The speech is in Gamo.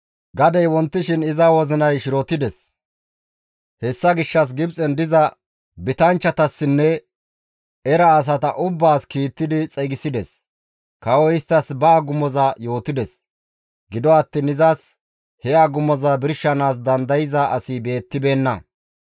Gadey wontishin iza wozinay shirotdes; hessa gishshas Gibxen diza bitanchchatassinne era asata ubbaas kiittidi xeygisides; kawoy isttas ba agumoza yootides; gido attiin izas he agumoza birshanaas dandayza asi beettibeenna.